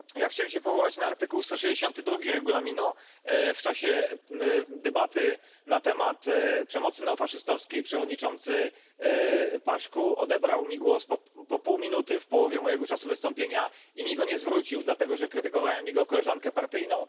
Pani Przewodnicząca! Ja chciałem się powołać na artykuł 162 Regulaminu. W czasie debaty na temat przemocy neofaszystowskiej przewodniczący Paşcu odebrał mi głos po pół minuty, w połowie mojego czasu wystąpienia, i mi go nie zwrócił, dlatego że krytykowałem jego koleżankę partyjną.